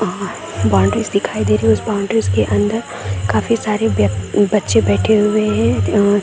Boundaries दिखाई दे रही है उस बॉउंड्रीज़ के अंदर काफी सारे व्य बच्चे बैठे हुए है।